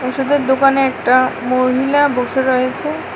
ওষুধের দোকানে একটা মহিলা বসে রয়েছে।